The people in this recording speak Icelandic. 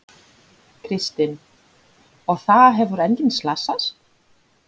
Kristinn: Og það hefur enginn slasast?